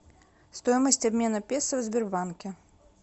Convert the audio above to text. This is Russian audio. стоимость обмена песо в сбербанке